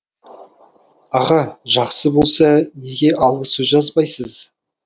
аға жақсы болса неге алғы сөз жазбайсыз